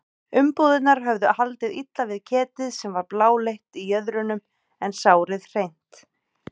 Umbúðirnar höfðu haldið illa við ketið sem var bláleitt í jöðrunum en sárið hreint.